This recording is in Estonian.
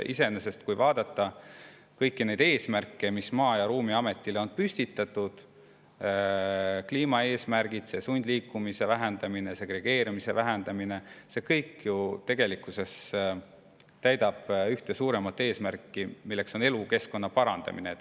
Iseenesest, kui vaadata kõiki neid eesmärke, mis Maa‑ ja Ruumiametile on püstitatud – kliimaeesmärgid, sundliikumise vähendamine, segregeerumise vähendamine –, see kõik ju tegelikkuses täidab ühte suuremat eesmärki, milleks on elukeskkonna parandamine.